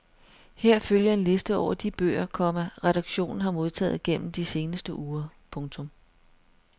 Her følger en liste over de bøger, komma redaktionen har modtaget gennem de seneste uger. punktum